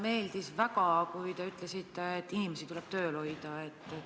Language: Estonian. Mulle väga meeldis, kui te ütlesite, et inimesi tuleb tööl hoida.